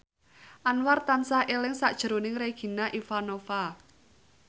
Anwar tansah eling sakjroning Regina Ivanova